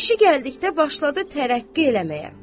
İşi gəldikdə başladı tərəqqi eləməyə.